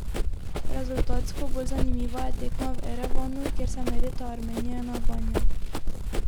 Rezultatsko bolj zanimiva je tekma v Erevanu, kjer se merita Armenija in Albanija.